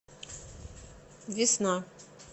весна